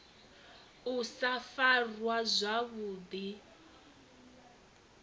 u sa farwa zwavhu ḓi